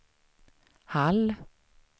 Hall